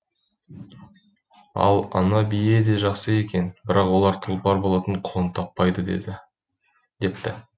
ал ана бие де жақсы екен бірақ олар тұлпар болатын құлын таппайды депті